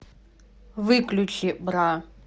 выключи бра